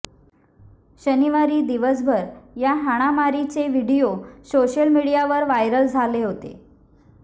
शनिवारी दिवसभर या हाणामारीचे व्हीडीओ सोशल मीडियावर व्हायरल झाले होते